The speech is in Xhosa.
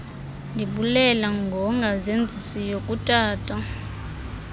ndibulela ngongazenzisiyo kutata